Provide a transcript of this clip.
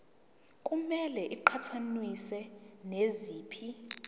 kumele iqhathaniswe naziphi